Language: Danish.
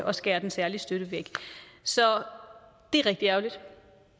og skærer den særlige støtte væk så det er rigtig ærgerligt